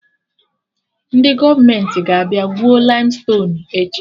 Ndị gọọmenti ga-abịa gwuo laimstonuu echi